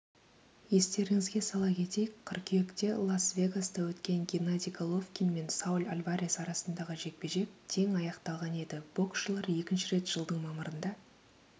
естеріңізге сала кетейік қыркүйекте лас-вегаста өткен геннадий головкин мен сауль альварес арасындағы жекпе-жек тең аяқталған еді боксшылар екінші рет жылдың мамырында